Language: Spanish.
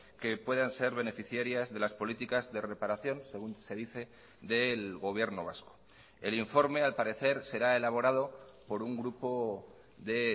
que puedan ser beneficiarias de las políticas de reparación según se dice del gobierno vasco el informe al parecer será elaborado por un grupo de